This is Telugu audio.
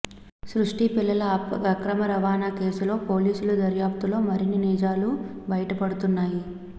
సృష్టి పిల్లల అక్రమ రవాణా కేసులో పోలీసుల దర్యాప్తులో మరిన్ని నిజాలు బయటపడుతున్నాయి